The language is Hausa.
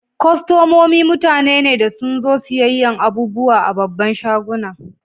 Kostomomi mutane ne da sun zo siyan abubuwa a'babban shagunan.